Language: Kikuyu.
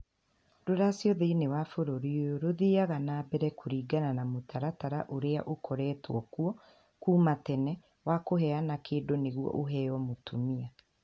Rũracio thĩinĩ wa bũrũri ũyũ rũthiaga na mbere kũringana na mũtaratara ũrĩa ũkoretwo kuo kuuma tene wa kũheana kĩndũ nĩguo ũheo mũtumia.